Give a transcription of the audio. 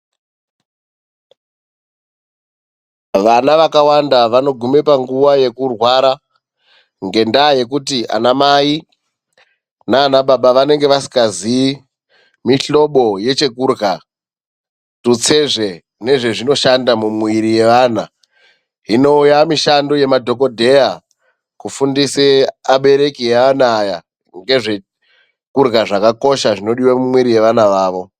Vana vakawanda vanogume panguva yekurwara ngendaa yekuti anamai naababa vanenge vasikaziyi mihlobo yechekudrya, tutsezve nezvezvinoshanda mumwiiri yevana. Hino yaamishando yemadhogodheya kufundise abereki eana aya ngezvekudrya zvakakosha zvinodiwe mumwiiri yevana vavo.